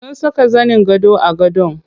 Sun saka zanin gado a gadon.